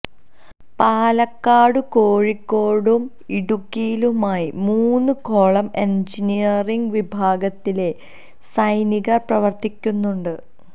പാലക്കാടും കോഴിക്കോടും ഇടുക്കിയിലുമായി മൂന്ന് കോളം എന്ജീനിയറിംഗ് വിഭാഗത്തിലെ സൈനികര് പ്രവര്ത്തിക്കുന്നുണ്ട്